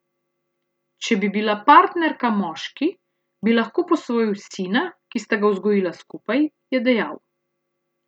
Če bi bila partnerka moški, bi lahko posvojil sina, ki sta ga vzgojila skupaj, je dejal.